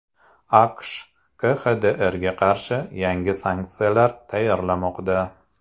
AQSh KXDRga qarshi yangi sanksiyalar tayyorlamoqda.